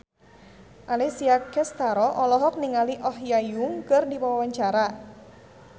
Alessia Cestaro olohok ningali Oh Ha Young keur diwawancara